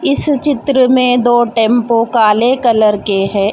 इस चित्र में दो टैंपो काले कलर के है.